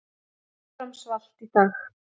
Áfram svalt í dag